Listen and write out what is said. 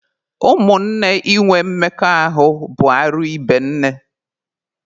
Ụmụnne inwe mmekọahụ bụ arụ ibe nne.